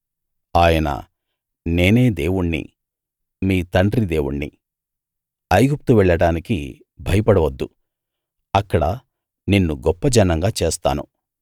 ఆయన నేనే దేవుణ్ణి మీ తండ్రి దేవుణ్ణి ఐగుప్తు వెళ్ళడానికి భయపడవద్దు అక్కడ నిన్ను గొప్ప జనంగా చేస్తాను